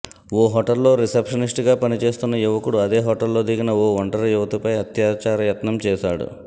ఓ హోటల్లో రిసెప్షనిస్టుగా పని చేస్తున్న యువకుడు అదే హోటల్లో దిగిన ఓ ఒంటరి యువతిపై అత్యాచార యత్నం చేశాడు